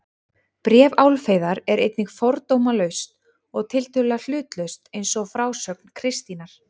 Bréf Álfheiðar er einnig fordómalaust og tiltölulega hlutlaust eins og frásögn Kristínar.